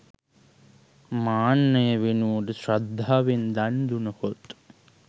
මාන්නය වෙනුවට ශ්‍රද්ධාවෙන් දන් දුනහොත්